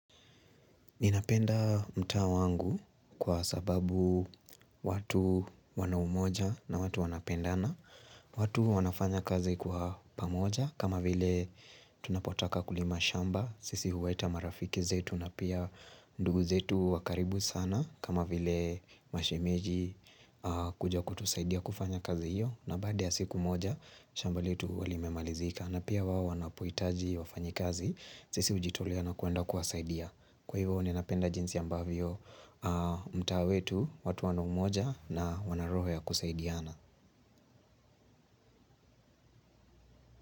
Ninapenda mtaa wangu kwa sababu watu wana umoja na watu wanapendana, watu wanafanya kazi kwa pamoja, kama vile tunapotaka kulima shamba, sisi huleta marafiki zetu na pia ndugu zetu wakaribu sana, kama vile mashemeji kuja kutusaidia kufanya kazi hiyo, na baada ya siku moja, shamba letu limemalizika. Na pia wao wanapohitaji wafanyikazi sisi hujitolea na kwenda kuwasaidia kwa hivyo ninapenda jinsi ambavyo mtaa wetu watu wano umoja na wana roho ya kusaidiana.